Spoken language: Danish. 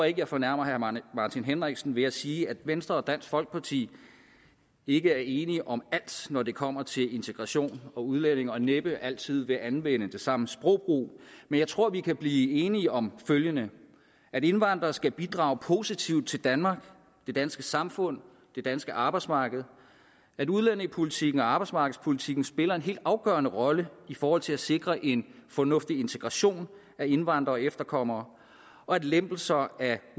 ikke jeg fornærmer herre martin henriksen ved at sige at venstre og dansk folkeparti ikke er enige om alt når det kommer til integration og udlændinge og næppe altid vil anvende den samme sprogbrug men jeg tror vi kan blive enige om følgende at indvandrere skal bidrage positivt til danmark det danske samfund det danske arbejdsmarked at udlændingepolitikken og arbejdsmarkedspolitikken spiller en helt afgørende rolle i forhold til at sikre en fornuftig integration af indvandrere efterkommere og at lempelser af